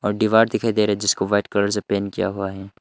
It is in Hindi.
दीवार दिखाई दे रही जिसको वाइट कलर से पेंट किया हुआ है।